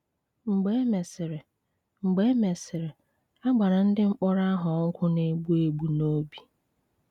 Mgbe e mesịrị, Mgbe e mesịrị, a gbara ndị mkpọrọ ahụ ọgwụ na-egbu egbu n’obi.